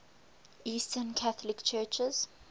eastern catholic churches